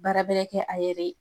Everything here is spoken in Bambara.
Baara bɛrɛ kɛ a yɛrɛ ye